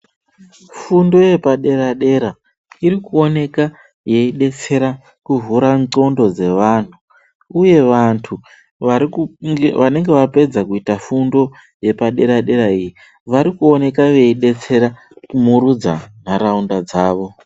Fundo yepadera-dera iri kuoneka yeibetsera kuvhura ndxondo dzevantu, uye vantu vanenge vapedza kuita fundo yepadera-dera iyi. Vari kuoneka veibetsera kumurudza ntaraunda dzavo.